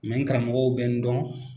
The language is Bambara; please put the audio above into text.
Mɛ n karamɔgɔw bɛ n dɔn.